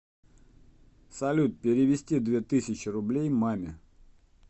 салют перевести две тысячи рублей маме